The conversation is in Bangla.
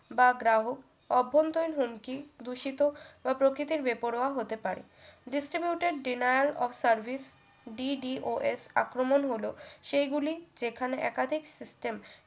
বা গ্রাহক অভ্যন্তরীণ হুমকি দূষিত বা প্রকৃতির বেপরোয়া হতে পারে distribute এর denaol off service DDOS আক্রমণ হলো সেই গুলি যেখানে একাধিক system